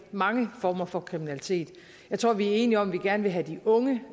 mange former for kriminalitet jeg tror vi er enige om at vi gerne vil have de unge